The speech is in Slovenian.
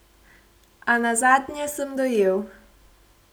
A nazadnje sem dojel.